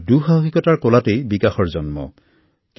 দুঃসাহকিতা আৰু বিকাশৰ মাজত এক অভিন্ন সম্পৰ্ক আছে